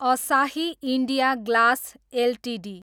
असाही India Glass Ltd